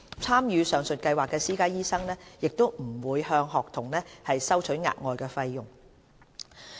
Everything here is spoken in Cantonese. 參與上述計劃的私家醫生不會向學童收取額外費用。